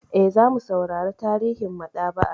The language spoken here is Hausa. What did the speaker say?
Eh, zamu saurara tarihin maɗaba'a.